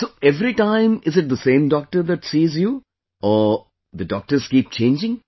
So every time is it the same doctor that sees you or the doctors keep changing